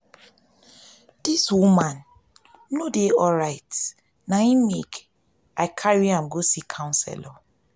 dis woman no dey alright na im make i carry am go see counselor.